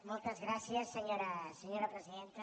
moltes gràcies senyora presidenta